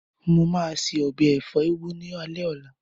Mo máa se ọbẹ̀ ẹ̀fọ́ úgú ní alé ọ̀la.